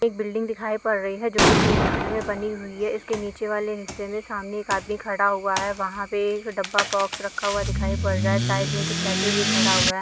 एक बिल्डिंग दिखाई पड़ रही है जो तीन खंड में बनी हुई है इसके नीचे वाले हिस्से में सामने एक आदमी खड़ा हुवा है वहाँ पे एक डब्बा बोक्स रखा दिखाई पड़ रहा है साईड में एक स्टेच्यू भी खड़ा हुवा है।